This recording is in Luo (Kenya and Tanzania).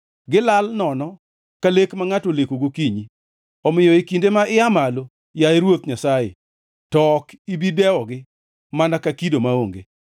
Gilal nono ka lek ma ngʼato oleko gokinyi, omiyo e kinde ma ia malo, yaye Ruoth Nyasaye, to ok ibi dewogi mana ka kido maonge.